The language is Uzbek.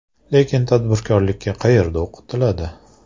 Lekin tadbirkorlikka qayerda o‘qitiladi?